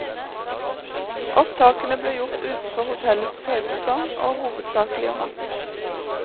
Opptakene ble gjort utenfor hotellets høysesong, og hovedsaklig om natten.